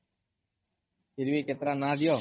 ଫିର୍ ଭି କେତେଟା ନାଁ ଦିଅ